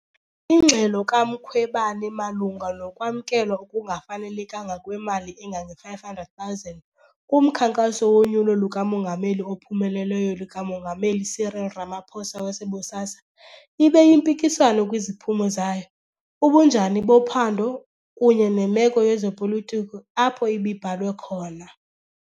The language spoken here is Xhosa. Ingxelo kaMkhwebane malunga nokwamkelwa okungafanelekanga kwemali engange-R500,000 kumkhankaso wonyulo luka-Mongameli ophumeleleyo lika-Mongameli Cyril Ramaphosa wase- BOSASA ibe yimpikiswano kwiziphumo zayo, ubunjani bophando, kunye nemeko yezopolitiko apho ibibhalwe khona.